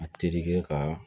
A terikɛ ka